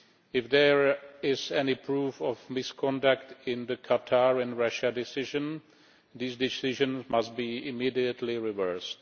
If there is any proof of misconduct in the Qatar and Russia decisions, these decisions must be immediately reversed.